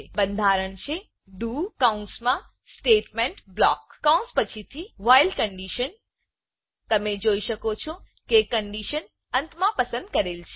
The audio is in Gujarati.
બંધારણ છે ડીઓ ડુકૌંસમાં સ્ટેટમેંટ બ્લોક કૌંસ પછીથી વ્હાઇલ વાઇલકન્ડીશન તમે જોઈ શકો છો કન્ડીશન અંતમાં પસંદ કરેલ છે